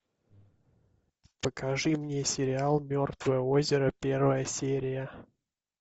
покажи мне сериал мертвое озеро первая серия